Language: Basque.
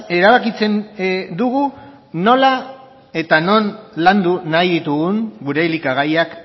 erabakitzen dugu nola eta non landu nahi ditugun gure elikagaiak